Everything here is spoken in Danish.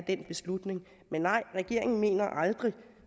den beslutning men nej regeringen mener